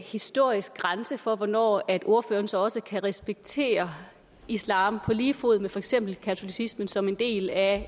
historisk grænse for hvornår ordføreren så også kan respektere islam på lige fod med for eksempel katolicismen som en del af